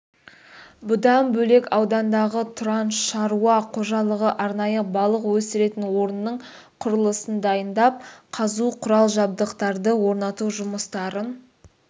бұдан бөлек аудандағы тұран шаруа қожалығы арнайы балық өсіретін орынның құрылысын дайындап қазу құрал-жабдықтарды орнату жұмыстарын